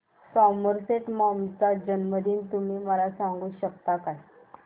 Somerset Maugham चा जन्मदिन तुम्ही मला सांगू शकता काय